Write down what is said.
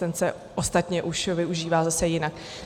Ten se ostatně už využívá zase jinak.